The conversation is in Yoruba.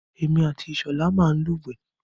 Èmi àti Ìṣọ̀lá máa ń lúwẹ̀ẹ́.